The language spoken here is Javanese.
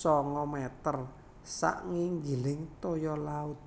sanga meter sak nginggiling toya laut